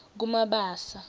kumabasa